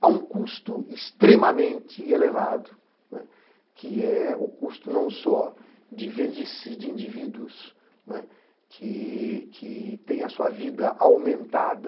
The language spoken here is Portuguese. Há um custo extremamente elevado, que é o custo não só de velhices, de indivíduos que têm a sua vida aumentada,